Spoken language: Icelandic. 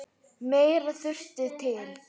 Meira þurfi til.